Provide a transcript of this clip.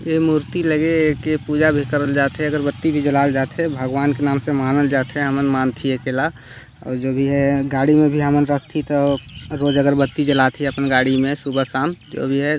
ये मूर्ति लगे है के पूजा भी करल जात है अगरबत्ती भी जलाल जात है भगवान के नाम से मानल जात है हमल मान थी अकेला और जो भी है गाडी में भी हमल रख थी तो रोज अगरबत्ती जलात है अपन गाड़ी मेंसुबह -शाम जो भी हैं।